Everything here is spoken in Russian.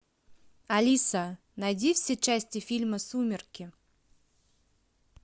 алиса найди все части фильма сумерки